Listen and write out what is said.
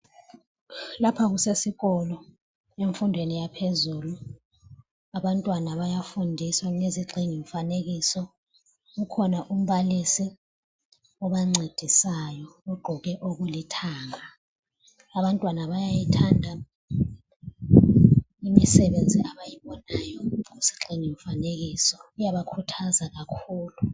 Lapha kusesikolo ,emfundweni yaphezulu, abantwana bayafundiswa ngezigxingi mfanekiso .Kukhona umbalisi obancedisayo ugqoke okulithanga. Abantwana bayayithanda imisebenzi abayibonayo kuzigxingini mfanekiso, iyabakhuthaza kakhulu.